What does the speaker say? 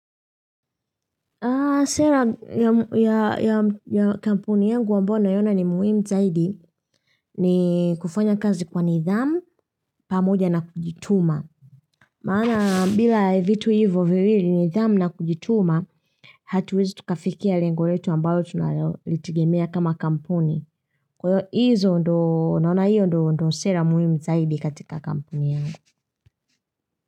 Sera ya kampuni yangu ambayo naiona ni muhimu zaidi ni kufanya kazi kwa nidhamu pamoja na kujituma. Maana bila vitu hivyo viwili nidhamu na kujituma, hatuwezi tukafikia lengo letu ambayo tunalitegemia kama kampuni. Kwa hizo ndo, naona hiyo ndo sera muhimu zaidi katika kampuni yangu.